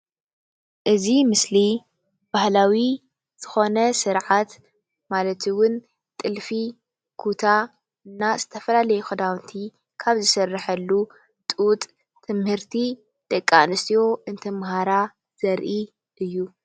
እዚ ምስሊ ባህላዊ ዝኾነ ስርዓት ማለት እውን ጥልፊ፣ ኩታ እና ዝትፈላለዩ ክዳውንቲ ካብ ዝስረሐሉ ጡጥ ምህርቲ ደቂ ኣነስትዮ እንትማሃራ ዘርኢ እዩ።